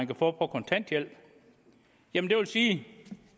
kan få på kontanthjælp jamen det vil sige